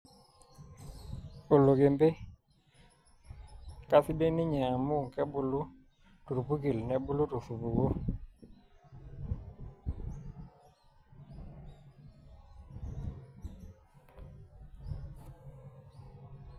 Olokempe. Kaisidai ninye amu kebulu tolpurkel nebulu tosupuko